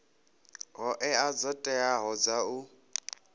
hoea dzo teaho dza u